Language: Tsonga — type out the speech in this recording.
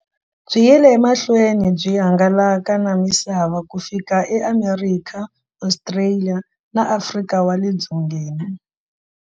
Byi yile emahlweni byi hangalaka na misava ku fika eAmerika, Ostraliya na Afrika wale dzongeni.